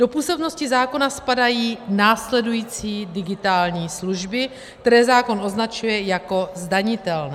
Do působnosti zákona spadají následující digitální služby, které zákon označuje jako zdanitelné.